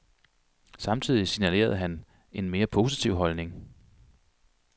Samtidig signalerede han en mere positiv holdning.